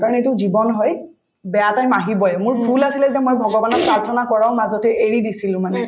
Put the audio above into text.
কাৰণ এইটো জীৱন হয় বেয়া time আহিবয়ে মোৰ ভূল আছিলে যে মই ভগৱানক প্ৰাৰ্থনা কৰাও মাজতে এৰি দিছিলো মানে